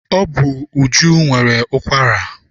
Ọ bụ Uju nwere ụkwara.